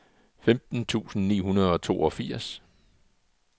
femten tusind ni hundrede og toogfirs